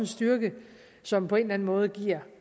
styrke som på en eller anden måde giver